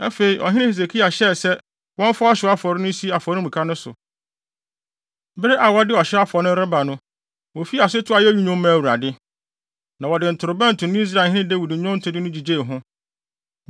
Afei, ɔhene Hesekia hyɛɛ sɛ wɔmfa ɔhyew afɔre no nsi afɔremuka no so. Bere a wɔde ɔhyew afɔre no reba no, wofii ase too ayeyi nnwom maa Awurade, na wɔde ntorobɛnto ne Israelhene Dawid nnwontode no gyigyee ho.